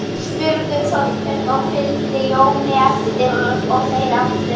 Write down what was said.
spurði Þórkell og fylgdi Jóni eftir og þeir allir.